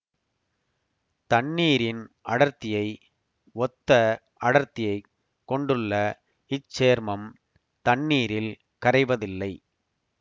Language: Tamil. தண்ணீரின் அடர்த்தியை ஒத்த அடர்த்தியைக் கொண்டுள்ள இச்சேர்மம் தண்ணீரில் கரைவதில்லை